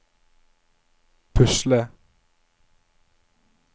pusle